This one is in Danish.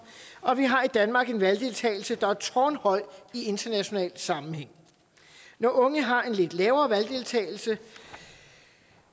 og vi har i danmark en valgdeltagelse der er tårnhøj i international sammenhæng når unge har en lidt lavere valgdeltagelse